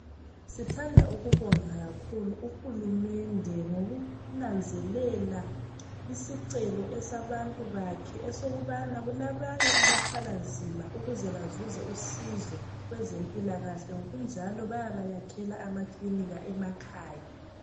Sithandwa ukubonga kakhulu kuhulumende ngokunanzelela isicelo esabantu bakhe esokubana kulabanye abathwala nzima ukuze bazuze usizo kwezempilakahle ngokunjalo bayabakhela amakilika emakhaya